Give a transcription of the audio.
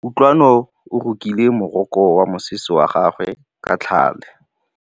Kutlwanô o rokile morokô wa mosese wa gagwe ka tlhale.